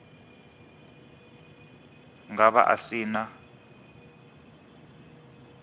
nga vha a si na